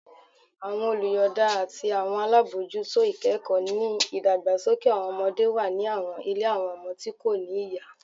Awọn oluyọọda ati awọn alabojuto ikẹkọ ni idagbasoke ọmọde wa ni awọn ile awọn ọmọ ti ko ni iya